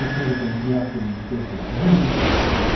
Annesine ve kendisine yaptığım iyilikler için uzun uzun teşekkür etti.